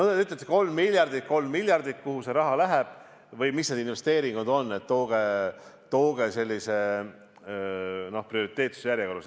Te ütlete: 3 miljardit, kuhu see raha läheb või mis need investeeringud on, et tooge prioriteetsuse järjekorras.